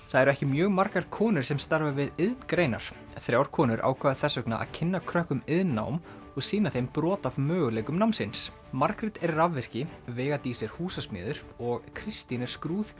það eru ekki mjög margar konur sem starfa við iðngreinar þrjár konur ákváðu þess vegna að kynna krökkum iðnnám og sýna þeim brot af möguleikum námsins Margrét er rafvirki veiga Dís er húsasmiður og Kristín er